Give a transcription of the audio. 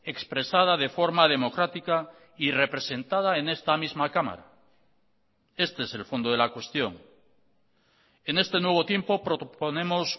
expresada de forma democrática y representada en esta misma cámara este es el fondo de la cuestión en este nuevo tiempo proponemos